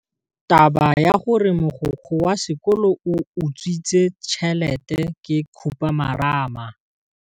Taba ya gore mogokgo wa sekolo o utswitse tšhelete ke khupamarama.